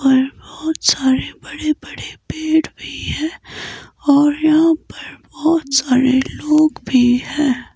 और बहुत सारे बड़े बड़े पेड़ भी हैं और यहां पर बहुत सारे लोग भी हैं।